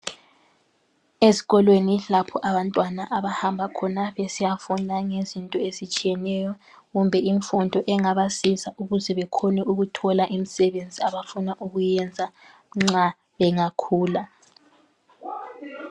Ezikolweni lapho abantwana abahamba khona besiyafunda ngezinto ezitshiyeneyo kumbe imfundo engabasiza ukuze bekhone ukuthola imisebenzi abafuna ukuyenza nxa bengakhula.